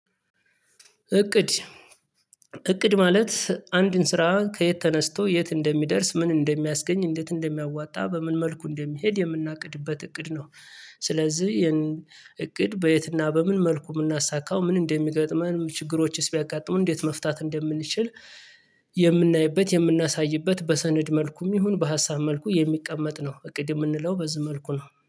እቅድ እቅድ ማለት አንድን ስራ ከየት ተነስቶ የት እንደሚደርስ ምን እንደሚያስገኝ እንዴት እንደሚያዋጣ በምን መልኩ እንደሚሄድ የምናቅድበት እቅድ ነው። ስለዚህ ይሄን እቅድ በየትና በምን መልኩ የምናሳካው ምን እንደሚገጥመን ችግሮችስ ቢያጋጥሙን እንዴት መፍታት እንደምንችል የምናይበት የምናሳይበት በሰነድ መልኩም ይሁን በሀሳብ መልኩ የሚቀመጥ ነው። እቅድ የምንለው በዚህ መልኩ ነው